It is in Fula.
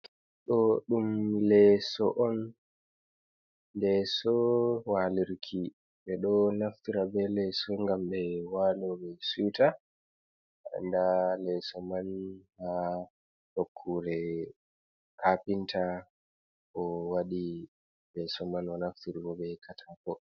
Ɗo ɗum leeso on. Leeso waalirki, ɓe ɗo naftira be leeso ngam ɓe waalo ɓe siwta nda leeso man ha nokkure kapinta. O waɗi leeso man o naftiri bo be katako.